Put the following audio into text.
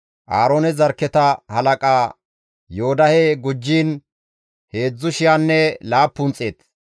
Aaroone zarkketa halaqa Yoodahe gujjiin heedzdzu shiyanne laappun xeet.